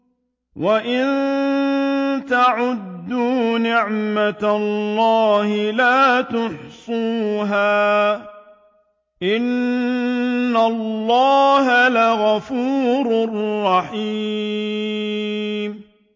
وَإِن تَعُدُّوا نِعْمَةَ اللَّهِ لَا تُحْصُوهَا ۗ إِنَّ اللَّهَ لَغَفُورٌ رَّحِيمٌ